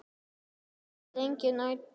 Enn lifir lengi nætur.